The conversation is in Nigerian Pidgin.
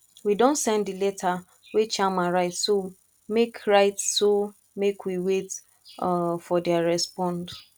we don send the letter wey chairman write so make write so make we wait um for their response